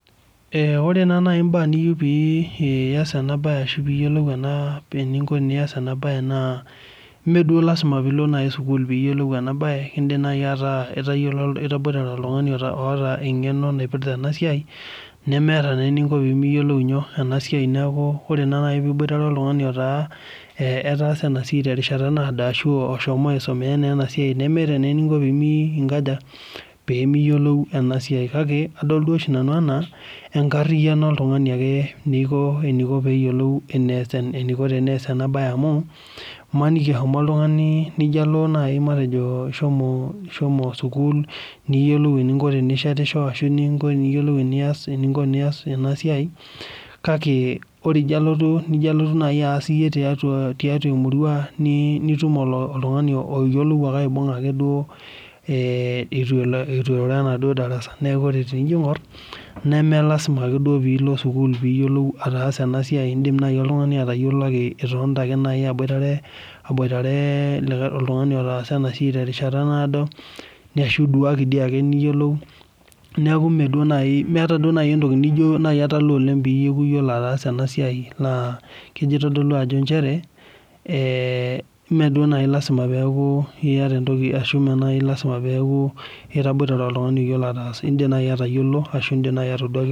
Eh ore naa nai imbaa niyiu pii ias enabaye ashu piiyiolou enaa pee eninko pias enabaye naa meeduo  lasima pilo nai sukul piiyiolou enaabaye, indim nai ataa itayiolo itaboitare oltung'ani oata eng'eno naipirta enasiai nemeata neeninko pimiyiolou nyoo? enasiai neaku ore naa nai piiboitare oltung'ani otaa eh etaasa enasiai terishata naado ashuu oshomo aisomea neenasiai nemeata neeninko pimii inkaja? Peemiyiolou enasiai kake, adol duo oshi nanu anaa enkarriyano oltung'ani ake neiko eneiko peeyiolou eneas eneiko teneas enabaye amu maniki ishomo oltung'ani nijo alo nai matejo ishomoo ishomo sukuul niyiolou tinishetisho, ashu ninko niyiolou enias eninko tinias enasiai, kake ore ijo alotu nijo alotu nai aas iyie tiatuaa tiatua emurua nii nitum oltung'ani oyiolou ake aibung'a ake duo eeh eitu elo eitu elo enaduo darasa. Neaku ore tinijo ing'orr neme lazima ake duo piilo sukuul piiyiolou ataasa enasiai indim nai oltungani atayiolo ake itonita ake nai abuoitare aboitaree likae oltung'ani otaasa enasiai terishata naado ashu isuake diiake niyiolou. Neaku meeduo nai meata duo nai entoki nijo italaa oleng' peaku iyiolo ataasa enasiai naa keji eitodolu ajo nchere eeh meduo nai lasima peaku iata entoki ashu mee nai lazima peaku itaboitare oltung'ani oyiolo ataasa, indim nai atayiolo ashu indim nai atoduaki.